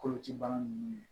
Koloci bagan ninnu